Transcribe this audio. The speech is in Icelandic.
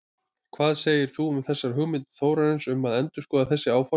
Hvað segir þú um þessar hugmyndir Þórarins um að endurskoða þessi áform?